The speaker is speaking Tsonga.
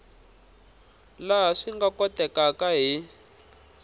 laha swi nga kotekaka hi